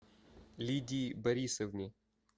лидии борисовне